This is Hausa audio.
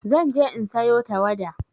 Zan je in sayo tawada.